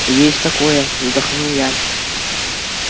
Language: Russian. есть такое вздохнул я